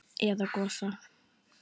Eða Gosa?